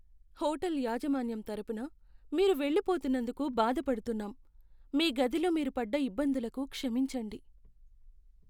Hotel యాజమాన్యం తరపున, మీరు వెళ్లిపోతున్నందుకు బాధ పడుతున్నాం, మీ గదిలో మీరు పడ్డ ఇబ్బందులకు క్షమించండి.